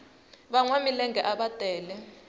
vanwa milenge ava tele